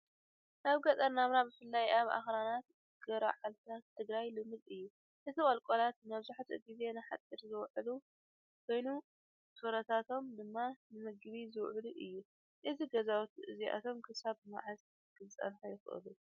ኣብ ገጠር ናብራ ብፍላይ ኣብ ኣኽራናት ገርዓልታ ትግራይ ልሙድ እዩ። እቲ ቁልቁለት መብዛሕትኡ ግዜ ንሓጹር ዝውዕል ኮይኑ ፍሩታቶም ድማ ንመግቢ ዝውዕል እዩ። እዞም ገዛውቲ እዚኣቶም ክሳብ መዓስ ክጸንሑ ይኽእሉ?